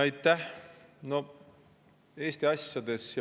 Aitäh!